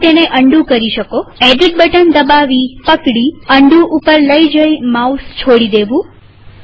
તમે તેને અન્ડૂ કરી શકોએડિટ બટન દબાવીપકડીઅન્ડૂ પર જઈ માઉસ છોડી દેવું